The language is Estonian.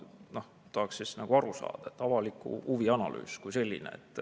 Ma tahaksin lihtsalt aru saada, mis on avaliku huvi analüüs kui selline.